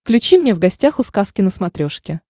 включи мне в гостях у сказки на смотрешке